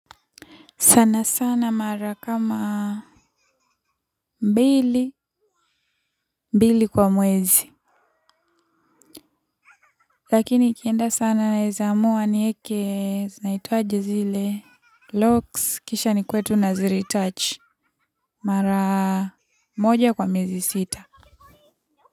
Sana sana mara kama mbili, mbili kwa mwezi. Lakini ikienda sana naeza amua nieke, zinaitwaje zile, locks, kisha nikue tu naziretouch. Mara moja kwa miezi sita.